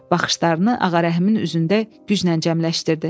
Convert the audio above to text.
Baxışlarını Ağarəhimin üzündə güclə cəmləşdirdi.